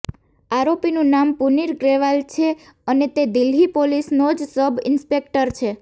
આરોપીનું નામ પુનીત ગ્રેવાલ છે અને તે દિલ્હી પોલીસનો જ સબ ઈન્સ્પેક્ટર છે